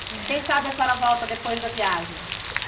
Quem sabe a senhora volta depois da viagem.